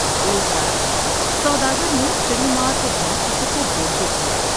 ایک رات سوداگر نے چڑی مار کے گھر کسی کو بولتا سنا ۔